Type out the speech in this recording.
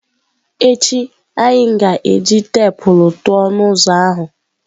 Echi anyị ga-eji teepu tụọ ọnụ ụzọ ahụ.